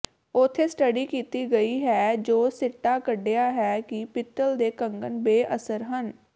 ਉੱਥੇ ਸਟੱਡੀ ਕੀਤੀ ਗਈ ਹੈ ਜੋ ਸਿੱਟਾ ਕੱਢਿਆ ਹੈ ਕਿ ਪਿੱਤਲ ਦੇ ਕੰਗਣ ਬੇਅਸਰ ਹਨ